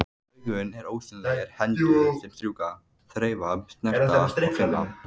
Augun eru ósýnilegar hendur sem strjúka, þreifa, snerta, finna.